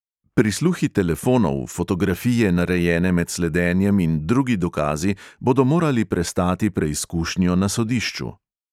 Prisluhi telefonov, fotografije, narejene med sledenjem, in drugi dokazi bodo morali prestati preizkušnjo na sodišču.